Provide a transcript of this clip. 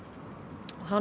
hann